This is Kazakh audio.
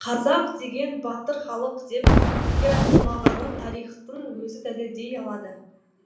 қазақ деген батыр халық деп бекер айтылмағанын тарихтың өзі дәлелдей алады